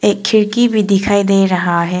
एक खिड़की भी दिखाई दे रहा है।